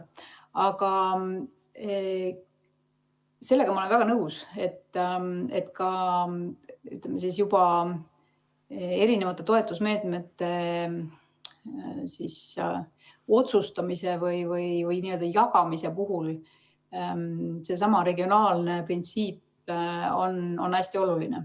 Aga sellega olen ma väga nõus, et toetusmeetmete otsustamise või jagamise puhul on regionaalne printsiip hästi oluline.